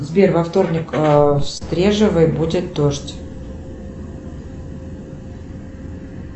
сбер во вторник в стрежевой будет дождь